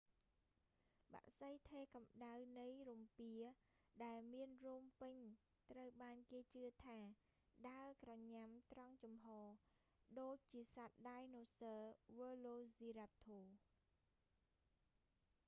បក្សីថេរកំដៅនៃរំពាដែលមានរោមពេញត្រូវបានគេជឿថាដើរក្រញ៉ាំត្រង់ជំហរ ដូចជាសត្វដាយណូស័រវើឡូស៊ីរ៉ាប់ធរ velociraptor